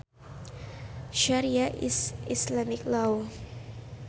Sharia is Islamic law